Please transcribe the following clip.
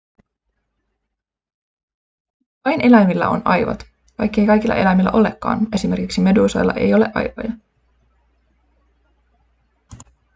vain eläimillä on aivot vaikkei kaikilla eläimillä olekaan – esimerkiksi meduusoilla ei ole aivoja